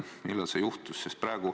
Millal see juhtus?